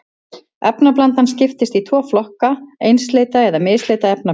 Efnablanda skiptist í tvo flokka, einsleita eða misleita efnablöndu.